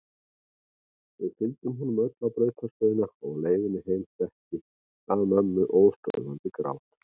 Við fylgdum honum öll á brautarstöðina og á leiðinni heim setti að mömmu óstöðvandi grát.